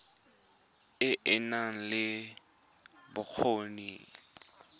e e nang le bokgoni